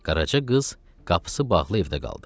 Qaraca qız qapısı bağlı evdə qaldı.